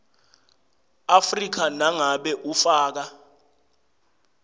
afrika nangabe ufaka